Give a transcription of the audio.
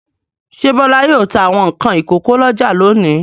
Ṣé Bọ́lá yóò ta àwọn nǹkan ìkókó lọ́jà lónìí?